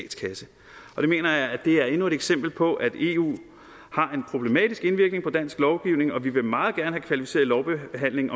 på det mener jeg er endnu et eksempel på at eu har en problematisk indvirkning på dansk lovgivning og vi vil meget gerne have kvalificeret lovbehandling